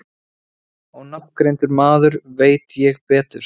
Ónafngreindur maður: Veit ég betur?